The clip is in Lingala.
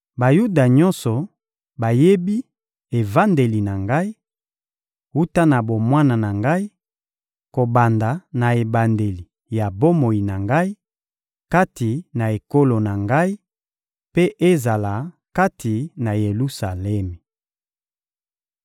Bayuda nyonso bayebi evandeli na ngai, wuta na bomwana na ngai, kobanda na ebandeli ya bomoi na ngai, kati na ekolo na ngai, mpe ezala kati na Yelusalemi.